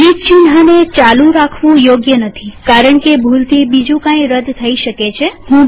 delete ચિન્હને ચાલુ રાખવું યોગ્ય નથીકારણકે ભૂલથી બીજું કઈ રદ થઇ શકે છે